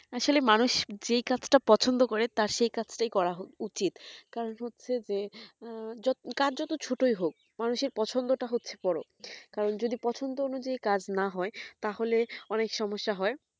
আসলে মানুষ যেই কাজ টা পছন্দ করে তার সেই কাজ তা করা উচিত কারণ হচ্ছে যে কাজ যতই ছোট হোক মানুষের পছন্দটা হচ্ছে বোরো যদি পছন্দ অনুযায়ী কাজ না হয় তাহলে অনেক সমস্যা হয়